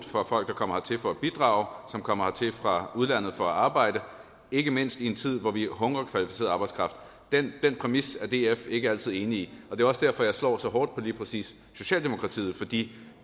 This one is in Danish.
for folk der kommer hertil for at bidrage som kommer hertil fra udlandet for at arbejde ikke mindst i en tid hvor vi hungrer efter kvalificeret arbejdskraft den præmis er df ikke altid enig i det er også derfor jeg slår så hårdt på lige præcis socialdemokratiet for de